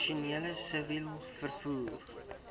professioneel siviel vervoer